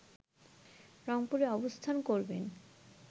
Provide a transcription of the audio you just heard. রংপুরে অবস্থান করবেন